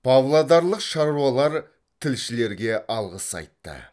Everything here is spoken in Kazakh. павлодарлық шаруалар тілшілерге алғыс айтты